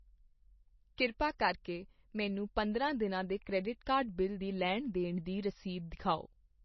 ਕਿਰਪਾ ਕਰਕੇ ਮੈਨੂੰ ਪੰਦਰਾਂ ਦਿਨਾਂ ਦੇ ਕ੍ਰੈਡਿਟ ਕਾਰਡ ਬਿੱਲ ਦੀ ਲੈਣ ਦੇਣ ਦੀ ਰਸੀਦ ਦਿਖਾਓ